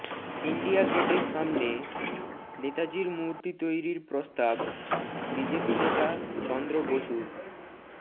India গেটের সামনে নেতাজীর মূর্তি তৈরির প্রস্তাব বিজেপি নেতা চন্দ্র বসুর